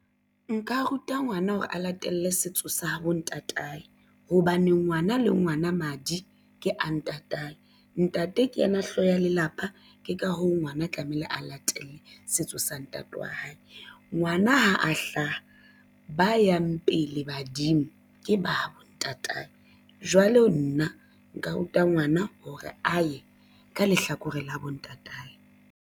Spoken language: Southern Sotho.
Nka ruta ngwana hore a latele setso sa habo ntatae hobane ngwana le ngwana madi ke a ntatae. Ntate ke yena hlooho ya lelapa ke ka hoo ngwana tlamehile a latele setso sa ntate wa hae. Ngwana ha a hlaha ba yang pele badimo ke ba bo ntatae. Jwale nna nka ruta ngwana hore a ye ka lehlakoreng la bontate hae.